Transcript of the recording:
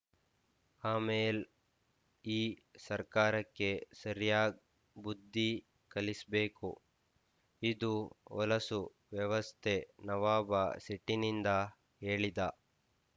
ಆಮೇಲ್ ಈ ಸರ್ಕಾರಕ್ಕೆ ಸರ್ಯಾಗ್ ಬುದ್ಧಿ ಕಲಿಸ್ಬೇಕು ಇದು ಹೊಲಸು ವ್ಯವಸ್ಥೆ ನವಾಬ ಸಿಟ್ಟಿನಿಂದ ಹೇಳಿದ